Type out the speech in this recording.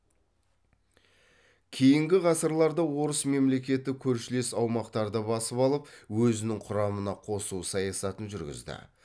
кейінгі ғасырларда орыс мемлекеті көршілес аумақтарды басып алып өзінің құрамына қосу саясатын жүргізді